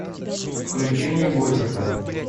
включи мне готика